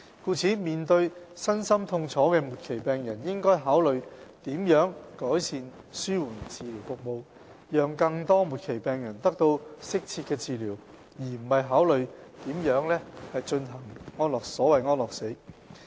故此，面對身心痛楚的末期病人，應該考慮如何改善紓緩治療服務，讓更多末期病人得到適切的治療，而不是考慮如何進行所謂"安樂死"。